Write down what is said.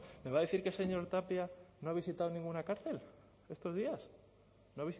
me va a decir que el señor tapia no ha visitado ninguna cárcel estos días no